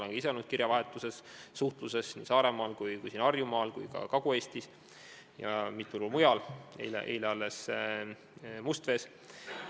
Olen ka ise olnud kirjavahetuses, suhtluses nii Saaremaal, Harjumaal, Kagu-Eestis kui ka mitmel pool mujal, alles eile olin Mustvees.